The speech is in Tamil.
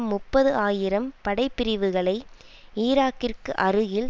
முப்பது ஆயிரம் படை பிரிவுகளை ஈராக்கிற்கு அருகில்